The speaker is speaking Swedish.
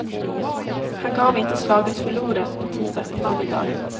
Han gav inte slaget förlorat på tisdagseftermiddagen.